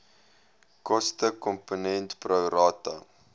kostekomponent pro rata